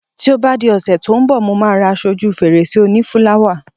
Ti o ba di òsè ti o n bò, Mo ma ra aso oju fèrèsé oni fúláwà